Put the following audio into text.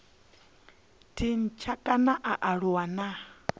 tshintsha kana a aluwa na